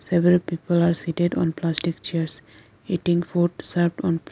several people are seated on plastic chairs eating food served on pla--